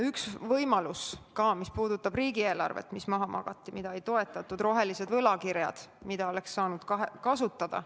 Üks võimalus, mis puudutab riigieelarvet ja mis maha magati, mida ei toetatud, on rohelised võlakirjad, mida oleks saanud kasutada.